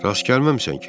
Rast gəlməmisən ki?